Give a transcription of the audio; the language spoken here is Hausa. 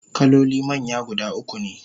kaloli manya guda ukune